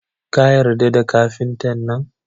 Ka yarda da kafinta nan?yi